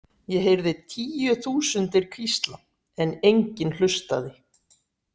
Ég heyrði tíu þúsundir hvísla en enginn hlustaði.